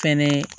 Fɛnɛ